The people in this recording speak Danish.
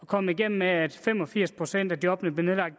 kommet igennem med at fem og firs procent af jobbene bliver nedlagt